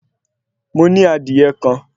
Mo ní adìyẹ kan